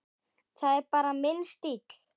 Það er bara minn stíll.